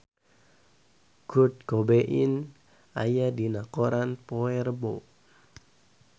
Kurt Cobain aya dina koran poe Rebo